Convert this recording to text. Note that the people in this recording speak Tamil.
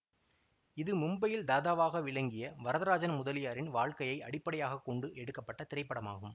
இது மும்பையில் தாதாகவாக விளங்கிய வரதராஜன் முதலியாரின் வாழ்க்கையை அடிப்படையாக கொண்டு எடுக்க பட்ட திரைப்படமாகும்